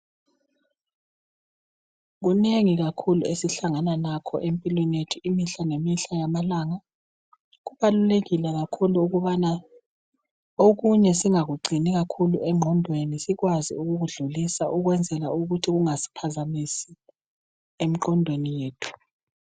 Kunengi kakhulu esihlangana lakho empilweni yethu imihla lemihla yamalanga, kubalulekile kakhulu ukubana okunye singakugcini kakhulu engqondweni sikwazi ukukudlulisa ukwenzela ukuthi kungasiphazamisi emqondweni yethu.